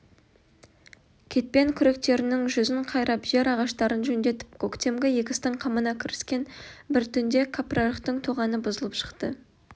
кетпен-күректерінің жүзін қайрап жер ағаштарын жөндетіп көктемгі егістің қамына кіріскен бір түнде кәпірарықтың тоғаны бұзылып шықты